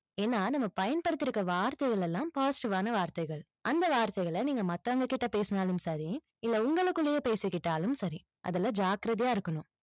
ஏன்னா, நம்ம பயன்படுத்திருக்க வார்த்தைகள் எல்லாம் positive வான வார்த்தைகள். அந்த வார்த்தைகளை நீங்க மத்தவங்க கிட்ட பேசினாலும் சரி, இல்ல உங்களுக்குள்ளேயே பேசிக்கிட்டாலும் சரி, அதுல ஜாக்கிரதையா இருக்கணும்.